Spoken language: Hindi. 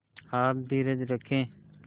आप धीरज रखें